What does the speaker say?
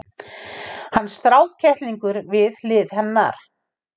Hann strákkettlingur við hlið hennar!